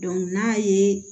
n'a ye